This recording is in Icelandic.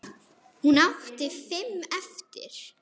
Hún átti fimm eftir.